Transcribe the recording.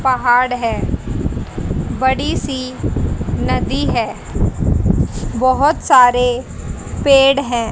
पहाड़ है बड़ी सी नदी है बहोत सारे पेड़ हैं।